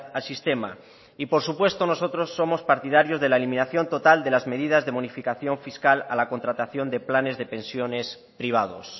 al sistema y por supuesto nosotros somos partidarios de la eliminación total de las medidas de bonificación fiscal a la contratación de planes de pensiones privados